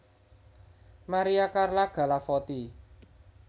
Maria Carla Galavotti